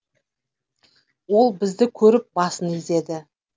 ол бізді көріп басын изеді